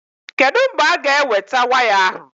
Kedụ mgbe a-ga eweta waya ahụ?